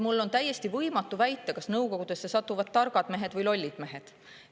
Mul on võimatu väita, kas nõukogudesse satuvad targad mehed või lollid mehed.